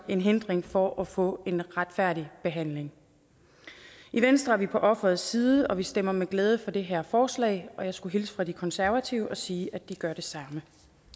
en hindring for at få en retfærdig behandling i venstre er vi på offerets side og vi stemmer med glæde for det her forslag jeg skulle hilse fra de konservative og sige at de gør det samme